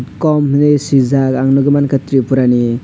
cum hinui swijak ang nugui mankha tripura ni.